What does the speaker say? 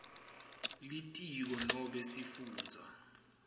litiko nobe sifundza